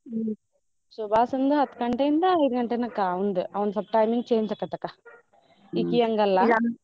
ಹ್ಮ್ ಸುಭಾಶಂದು ಹತ್ ಗಂಟೆಯಿಂದ ಐದ್ ಗಂಟೆನಕ ಅವ್ನ್ದು ಅವ್ನ್ದ್ ಸ್ವಲ್ಪ timing change ಆಕತಕ್ಕ ಇಕಿಯಂಗಲ್ಲ .